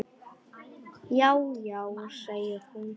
Já, já segir hún.